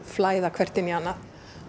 flæða hvert inn í annað